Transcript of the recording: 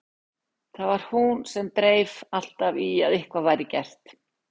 Það var hún sem dreif alltaf í að eitthvað væri gert.